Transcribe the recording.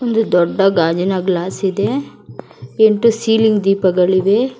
ಒಂದು ದೊಡ್ಡ ಗಾಜಿನ ಗ್ಲಾಸ್ ಇದೆ ಇಂಟು ಸೀಲಿಂಗ್ ದೀಪಗಳಿವೆ.